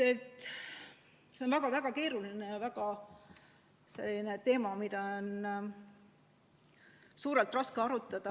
See on väga-väga keeruline, väga selline teema, mida on raske laialt arutada.